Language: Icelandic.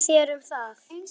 Hvað segið þér um það?